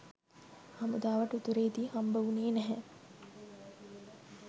හමුදාවට උතුරෙදි හම්බවුණේ නැහැ